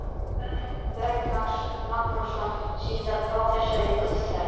Björn Magnússon, síðar prófessor í guðfræði.